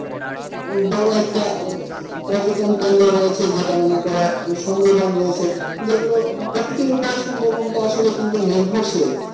বড় একটা আহ পর্যটন কেন্দ্র রয়েছে যেটা মনে কর সুন্দরবন রয়েছে যেগুলো প্রকৃতির উপরে সুন্দরবনটা আসলে কিন্তু নির্ভরশীল।